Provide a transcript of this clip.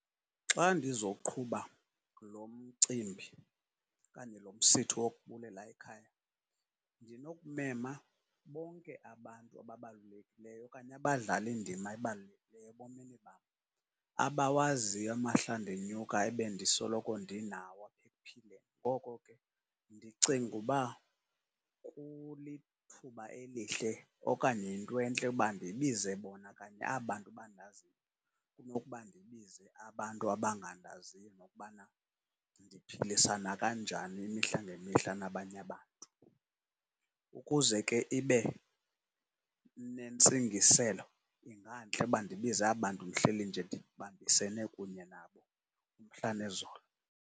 Xa ndizawuqhuba lo mcimbi okanye lo msitho wokubulela ekhaya, ndinokumema bonke abantu ababalulekileyo okanye abadlale indima ebalulekileyo ebomini bam, abawaziyo amahla ndinyuka ebendisoloko ndinawo apha ekuphileni. Ngoko ke, ndicinga uba kulithuba elihle okanye yinto entle uba ndibize bona kanye aba bantu bandaziyo, kunokuba ndibize abantu abangandaziyo nokubana ndiphilisana kanjani imihla ngemihla nabanye abantu. Ukuze ke ibe nentsingiselo, ingantle uba ndibize aba bantu ndihleli nje ndibambisene kunye nabo umhla nezolo.